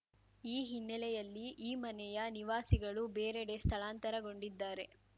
ಈ ಹಿನ್ನೆಲೆಯಲ್ಲಿ ಈ ಮನೆಯ ನಿವಾಸಿಗಳು ಬೇರೆಡೆ ಸ್ಥಳಾಂತರಗೊಂಡಿದ್ದಾರೆ